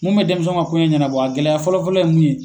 Mun bɛ denmisɛnw ka koɲa ɲanabɔ a gɛlɛya fɔlɔ fɔlɔ ye mun ye.